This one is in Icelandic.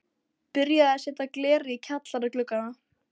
Byrjað að setja glerið í kjallara gluggana.